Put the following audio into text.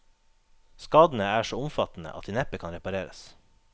Skadene er så omfattende at de neppe kan repareres.